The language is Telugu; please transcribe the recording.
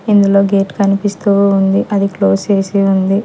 ఇందులో గేట్ కనిపిస్తూ ఉంది అది క్లోజ్ చేసి ఉంది.